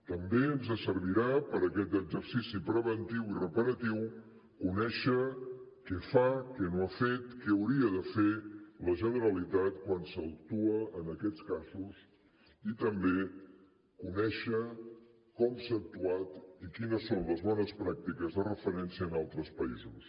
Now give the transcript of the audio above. també ens servirà per a aquest exercici preventiu i reparatiu conèixer què fa què no ha fet què hauria de fer la generalitat quan s’actua en aquests casos i també conèixer com s’ha actuat i quines són les bones pràctiques de referència en altres països